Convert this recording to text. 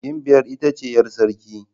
Gimbiyar ita ce 'yar sarki.